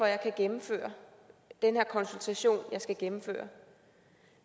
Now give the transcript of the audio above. jeg kan gennemføre den her konsultation jeg skal gennemføre